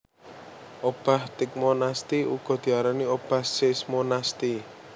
Obah tigmonasti uga diarani obah seismonasti